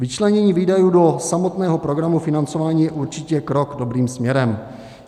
Vyčlenění výdajů do samotného programu financování je určitě krok dobrým směrem.